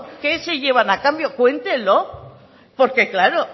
qué se llevan a cambio cuéntenlo porque claro